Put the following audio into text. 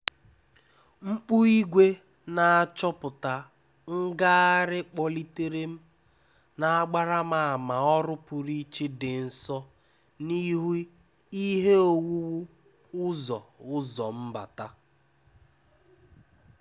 Mkpu ìgwè n'achọpụta ngagharị kpọlitere m, na-agbara m ama ọrụ pụrụ iche dị nso n'ihu ihe owuwu ụzọ ụzọ mbata.